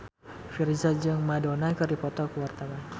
Virzha jeung Madonna keur dipoto ku wartawan